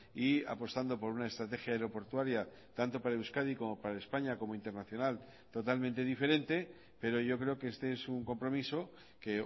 y apostando por una estrategia aeroportuaria tanto para euskadi como para españa como internacional totalmente diferente pero yo creo que este es un compromiso que